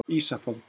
Ísafold